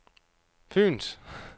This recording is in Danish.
Fyens